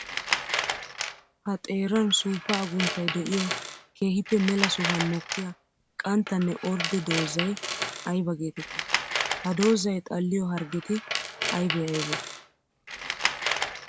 Ha xeeran suufa agunttay de'iyo keehippe mela sohuwan mokkiya qanttanne ordde doozay aybba geetetti? Ha doozay xalliyo harggetti aybbe aybbe?